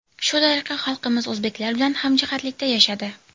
Shu tariqa xalqimiz o‘zbeklar bilan hamjihatlikda yashadi.